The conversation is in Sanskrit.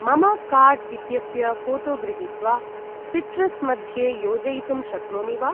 मम कार्ड् इत्यस्य फोटो गृहीत्वा सिट्रस् मध्ये योजयितुं शक्नोमि वा?